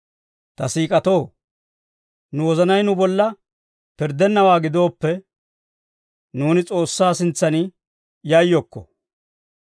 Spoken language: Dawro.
Ta siik'atoo, nu wozanay nu bolla pirddennawaa gidooppe, nuuni S'oossaa sintsan yayyokko.